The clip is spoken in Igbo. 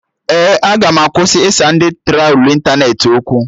Ee, aga m akwụsị ịsa ndị trolu ịntanetị okwu